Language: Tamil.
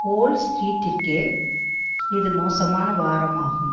வோல் ஸ்ட்ரீட்டிற்கே இது மோசமான வாரம் ஆகும்